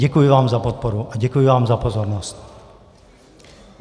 Děkuji vám za podporu a děkuji vám za pozornost.